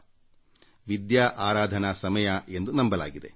ಇದನ್ನು ವಿದ್ಯಾ ಜ್ಞಾನದ ಆರಾಧನೆಯ ಸಮಯ ಎಂದು ನಂಬಲಾಗಿದೆ